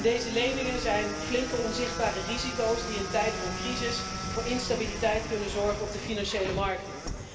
Deze leningen zijn flinke, onzichtbare risico's die in tijden van crisis voor instabiliteit kunnen zorgen op de financiële markten.